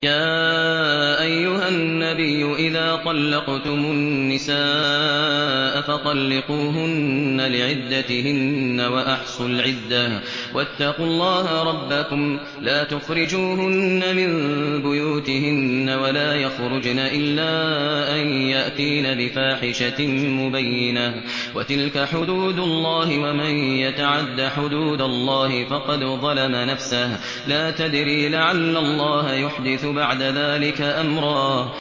يَا أَيُّهَا النَّبِيُّ إِذَا طَلَّقْتُمُ النِّسَاءَ فَطَلِّقُوهُنَّ لِعِدَّتِهِنَّ وَأَحْصُوا الْعِدَّةَ ۖ وَاتَّقُوا اللَّهَ رَبَّكُمْ ۖ لَا تُخْرِجُوهُنَّ مِن بُيُوتِهِنَّ وَلَا يَخْرُجْنَ إِلَّا أَن يَأْتِينَ بِفَاحِشَةٍ مُّبَيِّنَةٍ ۚ وَتِلْكَ حُدُودُ اللَّهِ ۚ وَمَن يَتَعَدَّ حُدُودَ اللَّهِ فَقَدْ ظَلَمَ نَفْسَهُ ۚ لَا تَدْرِي لَعَلَّ اللَّهَ يُحْدِثُ بَعْدَ ذَٰلِكَ أَمْرًا